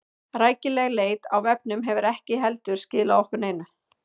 Rækileg leit á vefnum hefur ekki heldur skilað okkur neinu.